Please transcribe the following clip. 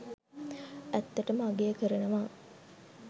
ඇත්තටම අගය කරනවා.